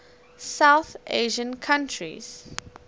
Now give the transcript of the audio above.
south asian countries